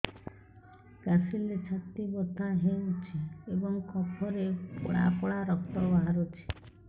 କାଶିଲେ ଛାତି ବଥା ହେଉଛି ଏବଂ କଫରେ ପଳା ପଳା ରକ୍ତ ବାହାରୁଚି